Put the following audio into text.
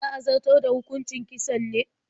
Za a zartar da hukucin kisan ne?